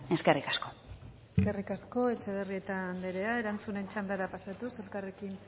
eskerrik asko eskerrik asko etxebarrieta andrea erantzunen txandara pasatuz elkarrekin